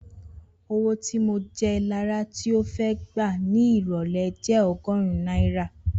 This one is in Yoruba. Owó tí mo jẹ Lará tí ó fẹ́ gbà ní ìrọ̀lẹ́ jẹ́ ogórún náírà